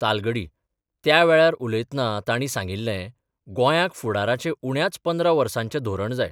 तालगडी त्या वेळार उलयतना तांणी सांगिल्ले गोंयांक फुडाराचें उण्याच 15 वर्साचें धोरण जाय.